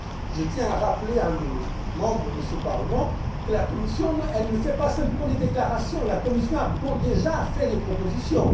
Je tiens à rappeler aux membres de ce Parlement que la Commission ne fait pas simplement des déclarations, la Commission a déjà fait des propositions.